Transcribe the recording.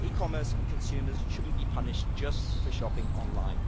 E-commerce and consumers should not be punished just for shopping online.